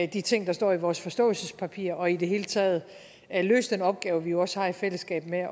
de ting der står i vores forståelsespapir og i det hele taget at løse den opgave vi jo også har i fællesskab med